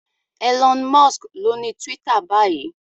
Elon Musk lóni Twitter báyìí.